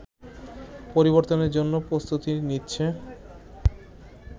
পরিবর্তনের জন্য প্রস্তুতি নিচ্ছে